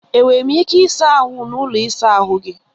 E nwere m ike ịsa ahụ n'ụlọ ịsa ahụ gị?